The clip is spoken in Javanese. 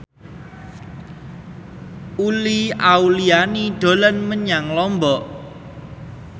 Uli Auliani dolan menyang Lombok